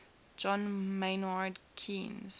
john maynard keynes